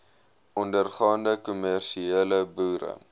ondergaande kommersiële boere